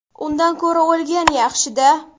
Undan ko‘ra o‘lgan yaxshi-da.